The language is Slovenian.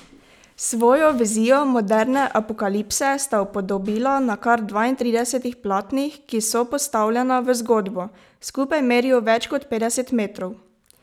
Svojo vizijo moderne apokalipse sta upodobila na kar dvaintridesetih platnih, ki sopostavljena v zgodbo skupaj merijo več kot petdeset metrov.